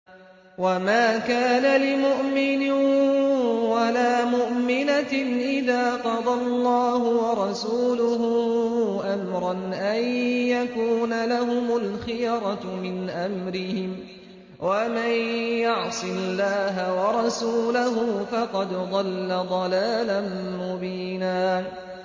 وَمَا كَانَ لِمُؤْمِنٍ وَلَا مُؤْمِنَةٍ إِذَا قَضَى اللَّهُ وَرَسُولُهُ أَمْرًا أَن يَكُونَ لَهُمُ الْخِيَرَةُ مِنْ أَمْرِهِمْ ۗ وَمَن يَعْصِ اللَّهَ وَرَسُولَهُ فَقَدْ ضَلَّ ضَلَالًا مُّبِينًا